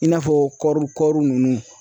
I n'a fɔ kɔri kɔri nunnu.